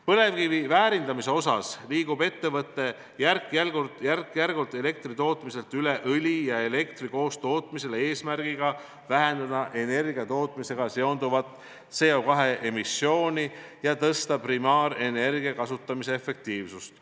Põlevkivi väärindamisel liigub ettevõte järk-järgult elektritootmiselt üle õli ja elektri koostootmisele eesmärgiga vähendada energiatootmisega seonduvat CO2 emissiooni ja suurendada primaarenergia kasutamise efektiivsust.